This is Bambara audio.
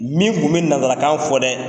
Min tun bɛ nanzarakan fɔ dɛ.